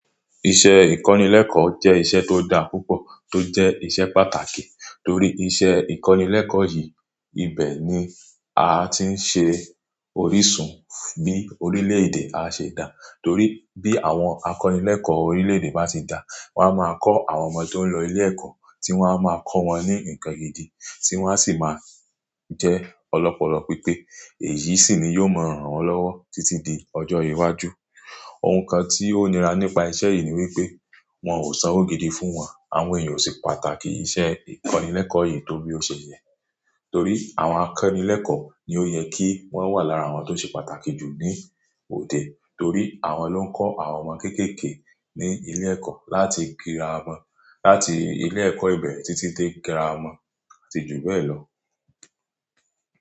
Iṣẹ́ ìkọ́nilẹ́kọ̀ jẹ́ iṣẹ́ tó da púpọ̀ tó jẹ́ iṣẹ́ pàtàkì torí iṣẹ́ ìkọ́nilẹ́kọ̀ yìí ibẹ̀ ni a ti ń ṣe orísun bí orílè-èdè a ṣe dà. Torí bí àwọn akọ́nilẹ́kọ̀ orílè-èdè bá ṣe dà, wọ́n á máa kọ́ àwọn ọmọ tó ń lọ ilé-ẹ̀kọ́ tí wọ́n á máa kọ́ wọn ní nǹkan gidi tí wọ́n sì máa jẹ́ ọlọ́pọlọ pípé, èyí sì ni yóò mọ̀ran lọ́wọ́ títí di ọjọ́ iwájú. Ohun kan tí ó nira nípa iṣẹ́ yìí ni wípé wọn ò sanwó gidi fún wọn. Àwọn èèyàn ò ṣe pàtàkì ìṣe ìkọ́nilẹ́kọ̀ yìí torí ó ṣe yẹ torí àwọn akọ́nilẹ́kọ̀ ni ó yẹ kí wọ́n wà lára àwọn tó ṣe pàtàkì jù ní òde torí àwọn ló ń kọ́ àwọn ọmọ kéékèèké ní ilé-ẹ̀kọ́ láti kíra wọn láti ilé-ẹ̀kọ́ ìbẹ̀ títí dé kíra wọn àti jù bẹ́ẹ̀ lọ.